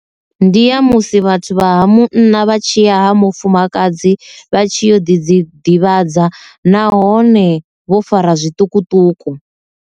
Ndi ya musi vhathu vha ha munna vha tshiya ha mufumakadzi vha tshi yo ḓi dzi ḓivhadza nahone vho fara zwiṱukuṱuku.